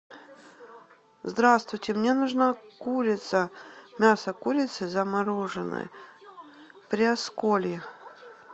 здравствуйте мне нужна курица мясо курицы замороженное приосколье